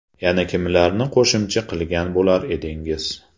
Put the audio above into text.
Yana kimlarni qo‘shimcha qilgan bo‘lar edingiz?